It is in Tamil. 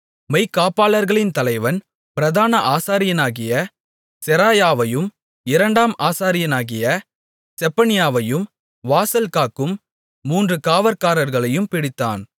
மெய்க்காப்பாளர்களின் தலைவன் பிரதான ஆசாரியனாகிய செராயாவையும் இரண்டாம் ஆசாரியனாகிய செப்பனியாவையும் வாசல்காக்கும் மூன்று காவற்காரர்களையும் பிடித்தான்